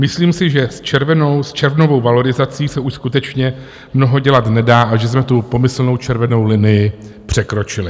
Myslím si, že s červnovou valorizací se už skutečně mnoho dělat nedá a že jsme tu pomyslnou červenou linii překročili.